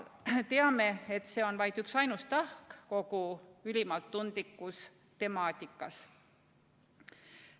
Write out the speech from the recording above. Teame, et see on vaid üksainus tahk kogu ülimalt tundlikus temaatikas.